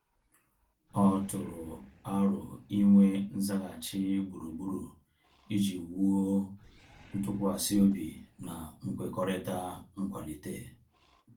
Ọ tụrụ arọ inwe nzaghachi gburugburu iji wuo ntụkwasị obi na nkwekọrịta nkwalite